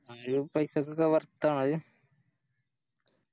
ആ ഈ പൈസക്കൊക്കെ Worth ആണോ അയ്